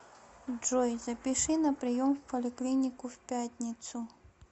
джой запиши на прием в поликлинику в пятницу